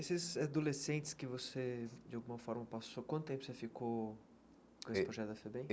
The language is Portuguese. Esses adolescentes que você, de alguma forma, passou, quanto tempo você ficou com esse projeto da FEBEM?